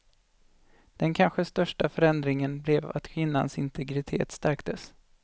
Den kanske största förändringen blev att kvinnans integritet stärktes.